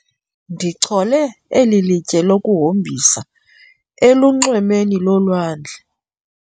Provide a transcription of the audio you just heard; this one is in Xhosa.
Ndichole eli litye lokuhombisa elunxwemeni lolwandle.